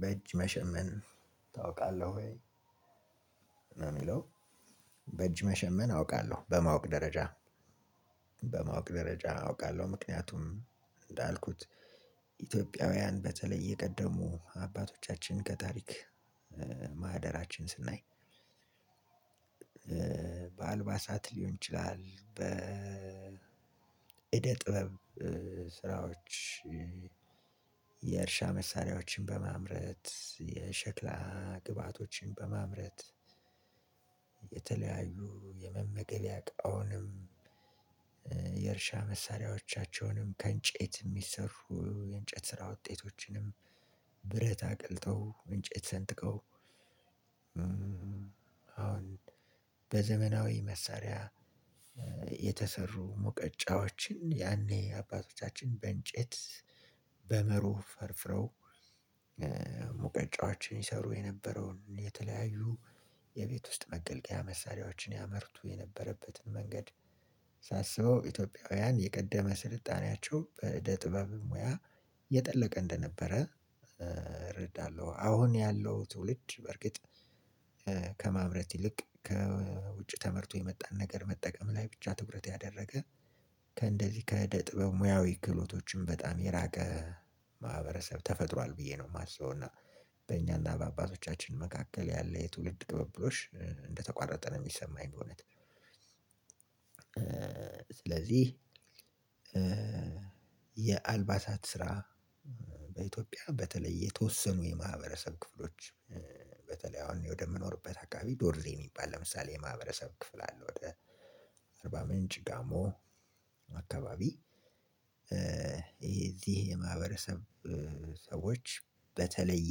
በእጅ መሸመን ታውቃለህ ወይ? ነው የሚለው በእጅ መሸመን አውቃለሁ በማወቅ ደረጃ በማወቅ ደረጃ አውቃለሁ። ምክንያቱም እንዳልኩት ኢትዮጵያውያን በተለይ የቀደሙ አባቶቻችን ከታሪክ ማህደራችን ስናይ። በአልባሳት ሊሆን ይችላል በ እደ ጥበብ ስራዎች የእርሻ መሳሪያዎችን በማምረት የሸክላ ግባቶችን በማምረት። የተለያዩ የመመገቢያ እቃውንም የእርሻ መሳሪያዎቻቸውንም ከእንጨት የሚሰሩ የእንጨት ስራ ውጤቶችንም። ብረት አቅልጠው እንጨት ሰንጥቀው። አሁን በዘመናዊ መሳሪያ የተሰሩ ሙቀጫዎችን ያኔ አባቶቻችን በእንጨት በመሮ ፈርፍረው። ሙቀጫዎችን ይሰሩ የነበረውን የተለያዩ የቤት ውስጥ መገልገያ መሳሪያዎችን ያመርቱ የነበረበትን መንገድ። ሳስበው ኢትዮጵያውያን የቀደመ ስልጣኔያቸው በእደ ጥበብ ሙያ የጠለቀ እንደነበረ እረዳለሁ። አሁን ያለው ትውልድ በእርግጥ ከማምረት ይልቅ ከውጭ ተመርቶ የመጣን ነገር መጠቀም ላይ ብቻ ትኩረት ያደረገ ከእንደዚህ ከእደ ጥበብ ሙያዊ ክህሎቶችም በጣም የራቀ ማህበረሰብ ተፈጥሯል ብዬ ነው የማስበው። እና በእኛና በአባቶቻችን መካከል ያለ የትውልድ ቅብብሎሽ እንደተቋረጠ ነው የሚሰማኝ። በእውነት ስለዚህ የአልባሳት ስራ በኢትዮጵያ በተለይ የተወሰኑ የማህበረሰብ ክፍሎች በተለይ አሁን ወደ እምኖርበት አካባቢ ዶርዜ የሚባል ለምሳሌ የማህበረሰብ ክፍል አለ ወደ አርባ ምንጭ ጋሞ አካባቢ። ይሄ እዚህ የማህበረሰብ ሰዎች በተለየ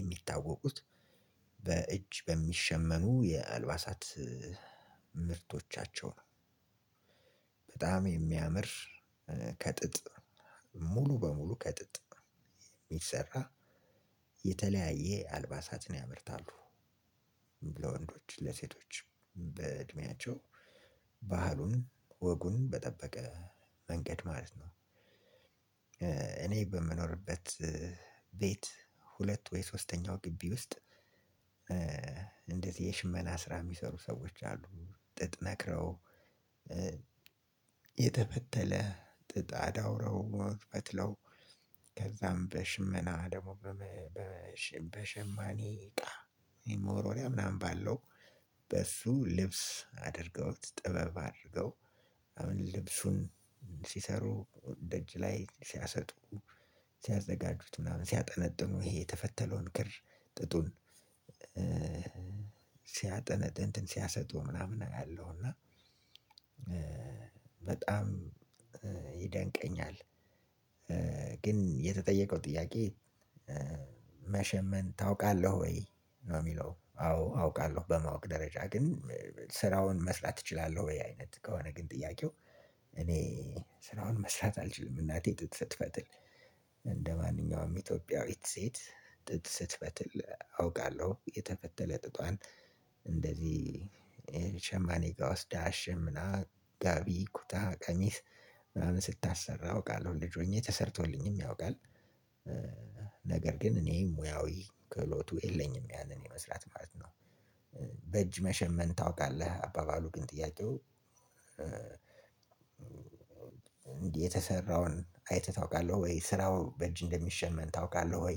የሚታወቁት በእጅ በሚሸመኑ የአልባሳት ምርቶቻቸው ነው። በጣም የሚያምር ከጥጥ ሙሉ በሙሉ ከጥጥ የተሰራ የተለያየ አልባሳትን ያመርታሉ። ለወንዶች ለሴቶችም በእድሜያቸው ባህሉን ወጉን በጠበቀ መንገድ ማለት ነው። እኔ በምኖርበት ቤት ሁለት ወይ ሶስተኛው ግቢ ውስጥ። እንደዚህ የሽመና ስራ የሚሰሩ ሰዎች አሉ። ጥጥ ነክረው የተፈተለ ጥጥ አዳውረው ፈትለው ከዛም በሽመና ደግሞ በሸማኔ እቃ ይህ መወርወሪያ ምናምን ባለው በሱ ልብስ አድርገውት ጥበብ አድርገው። አሁን ልብሱን ሲሰሩ ደጅ ላይ ሲያሰጡ ሲያዘጋጁት ምናምን ሲያጠነጥኑ ይሄ የተፈተለውን ክር ጥጡን ሲያጠነ እንትን ሲያሰጡ ምናምን አያለሁና። በጣም ይደንቀኛል። ግን የተጠየቀው ጥያቄ መሸመን ታውቃለህ ወይ? ነው የሚለው አዎ አውቃለሁ በማወቅ ደረጃ። ግን ስራውን መስራት እችላለሁ ወይ አይነት ከሆነ ግን ጥያቄው። እኔ ስራውን መስራት አልችልም እናቴ ጥጥ ስትፈትል እንደማንኛውም ኢትዮጵያዊት ሴት ጥጥ ስትፈትል አውቃለሁ የተፈተለ ጥጧን። እንደዚህ ሸማኔ ጋ ወስዳ አሸምና ጋቢ ኩታ ቀሚስ ምናምን ስታሰራ አውቃለሁ። ልጅ ሆኜ ተሰርቶልኝም ያውቃል። ነገር ግን እኔ ሙያዊ ክህሎቱ የለኝም ያንን የመስራት ማለት ነው። በእጅ መሸመን ታውቃለህ አባባሉ ግን ጥያቄው። እንዲህ የተሰራውን አይተህ ታወቃለህ ወይ ስራው በእጅ እንደሚሸመን ታወቃለህ ወይ?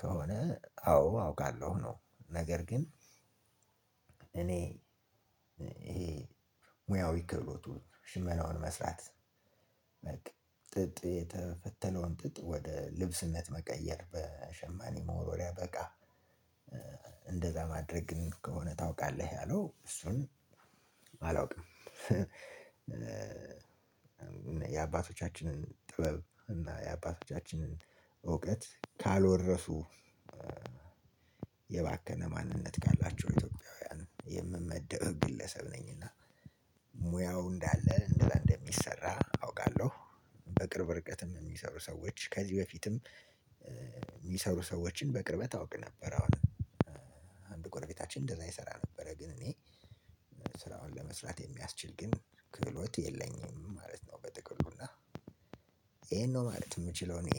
ከሆነ አዎ አውቃለሁ። ነው ነገር ግን እኔ ይሄ ሙያዊ ክህሎቱ ሽመናውን መስራት በቃ ጥጥ የተፈተለውን ጥጥ ወደ ልብስነት መቀየር በሸማኔ መወርወሪያ በእቃ እንደዛ ማድረግ ግን ከሆነ ታውቃለህ ያለው እሱን አላውቅም። የአባቶቻችንን ጥበብ እና የአባቶቻችንን እውቀት ካልወረሱ የባከነ ማንነት ካላቸው ኢትዮጵያውያን የምመደብ ግለሰብ ነኝና ሙያው እንዳለ እንደዛ እንደሚሰራ አውቃለሁ። በቅርብ ርቀትም የሚሰሩ ሰዎች ከዚህ በፊትም። የሚሰሩ ሰዎችን በቅርበት አውቅ ነበረ አሁን አንድ ጎርቤታችን እንደዛ ይሰራ ነበረ። ግን እኔ ስራውን ለመስራት የሚያስችል ግን ክህሎት የለኝም ማለት ነው። በጥቅሉ እና ይሄን ነው ማለት የምችለው እኔ።